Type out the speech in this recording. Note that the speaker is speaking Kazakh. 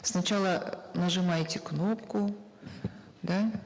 сначала нажимаете кнопку да